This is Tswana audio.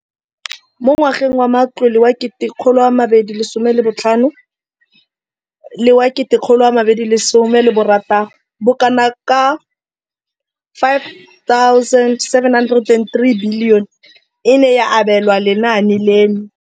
Mo ngwageng wa matlole wa 2015,16, bokanaka R5 703 bilione e ne ya abelwa lenaane leno.